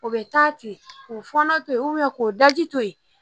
O bɛ taa ten k'o fɔnɔ to ye k'o daji to yen